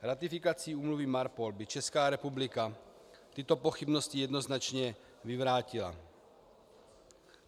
Ratifikací úmluvy MARPOL by Česká republika tyto pochybnosti jednoznačně vyvrátila.